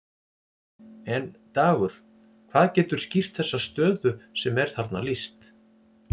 En Dagur, hvað getur skýrt þessa stöðu sem er þarna lýst?